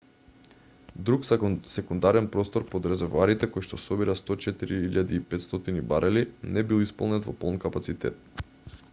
друг секундарен простор под резервоарите којшто собира 104.500 барели не бил исполнет во полн капацитет